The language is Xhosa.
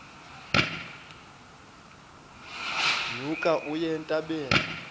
nyuka uye entabeni